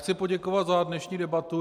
Chci poděkovat za dnešní debatu.